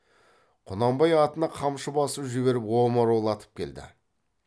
құнанбай атына қамшы басып жіберіп омыраулатып келді